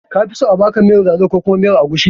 Kafi so a baka miyar lalo ko kuma miyar agushi?